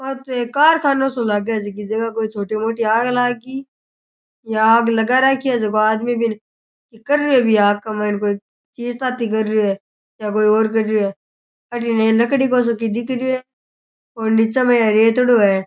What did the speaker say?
आ तो एक कारखानों सो लागे है जीकी जगह कोई छोटी मोटी आग लाग गी या आग लगा राखी है जिको आदमी बीने की कर रयो भी है आग कै माइन कोई चीज ताती कर रयो है या कोई और कर रयो है अठी नै ये लकड़ी को सो की दिख रयो है और निचे मै ये रेतडो है।